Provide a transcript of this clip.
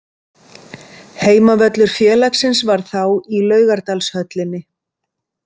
Heimavöllur félagsins var þá í Laugardalshöllinni.